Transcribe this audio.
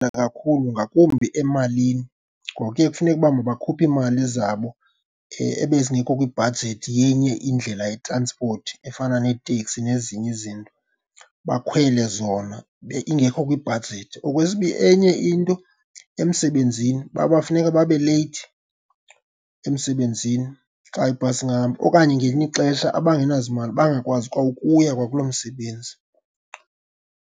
Kakhulu ngakumbi emalini. Ngoku ke kufuneke uba makhuphe iimali zabo ebezingekho kwibhajethi yenye indlela yetranspoti efana neteksi nezinye izinto, bakhwele zona ingekho kwibhajethi. Enye into, emsebenzini funeka babe leyithi emsebenzini xa ibhasi ingahambi, okanye ngelinye ixesha abangenazimali bangakwazi kwa ukuya kwakuloo msebenzi.